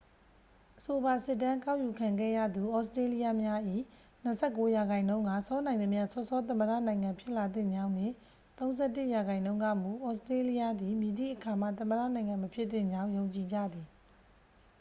အဆိုပါစစ်တမ်းကောက်ယူခံခဲ့ရသူ ဩစတေးလျများ၏ 29 ရာခိုင်နှုန်းက စောနိုင်သမျှ စောစော သမ္မတနိုင်ငံဖြစ်လာသင့်ကြောင်းနှင့် 31 ရာခိုင်နှုန်းကမူ ဩစတေးလျသည် မည်သည့်အခါမှ သမ္မတနိုင်ငံမဖြစ်သင့်ကြောင်း ယုံကြည်ကြသည်